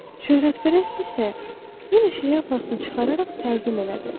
Şöhrətpərəst isə yenə şlyapasını çıxararaq təzim elədi.